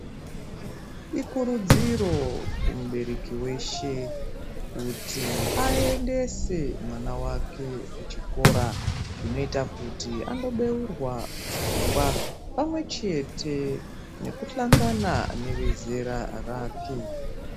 Ikurudziro kumubereki weshe kuti aendese mwana wake kuchikora zvinoita kuti andobeurwa pfungwa pamwe chete nekuhlangana nevezera rake.